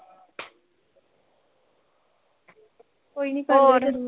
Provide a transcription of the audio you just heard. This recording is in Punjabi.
ਕੋਈ ਨੀਂ ਕਰਲਿਓ ਜਦ ਮਰਜ਼ੀ।